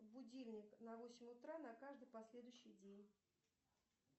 будильник на восемь утра на каждый последующий день